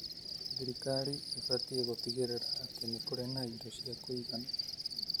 Thirikari ĩbatie gũtigĩrĩra atĩ nĩ kũrĩ na indo cia kuigana,